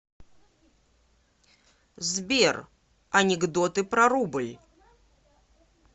сбер анекдоты про рубль